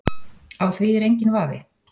Á því er enginn vafi